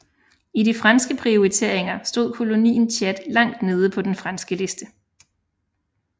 I de franske prioriteringer stod kolonien Tchad langt nede på den franske liste